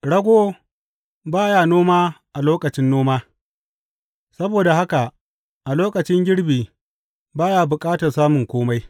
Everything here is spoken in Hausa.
Rago ba ya noma a lokacin noma; saboda haka a lokacin girbi ba ya bukata samun kome.